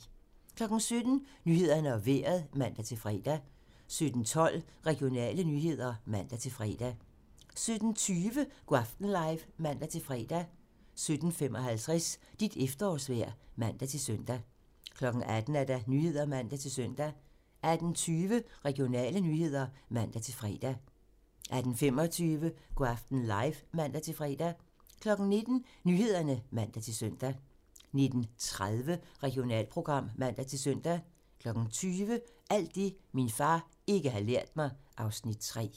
17:00: Nyhederne og Vejret (man-fre) 17:12: Regionale nyheder (man-fre) 17:20: Go' aften live (man-fre) 17:55: Dit efterårsvejr (man-søn) 18:00: Nyhederne (man-søn) 18:20: Regionale nyheder (man-fre) 18:25: Go' aften live (man-fre) 19:00: Nyhederne (man-søn) 19:30: Regionalprogram (man-søn) 20:00: Alt det, min far ikke har lært mig (Afs. 3)